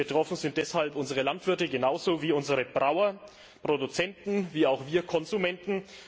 Betroffen sind deshalb unsere Landwirte genauso wie unsere Brauer, Produzenten wie auch wir Konsumenten.